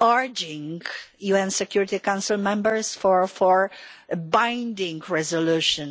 urging UN Security Council members for a binding resolution